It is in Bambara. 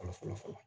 Fɔlɔ fɔlɔ fɔlɔ